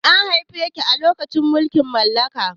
An haife ki a lokacin mulkin mallaka?